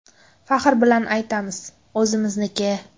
Faxr bilan aytamiz: o‘zimizniki!